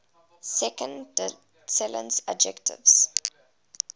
second declension adjectives